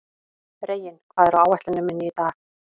Reginn, hvað er á áætluninni minni í dag?